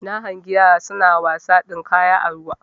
Na hangi yara suna wasa dinkaya a ruwa